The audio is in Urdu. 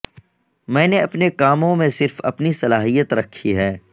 میں نے اپنے کاموں میں صرف اپنی صلاحیت رکھی ہے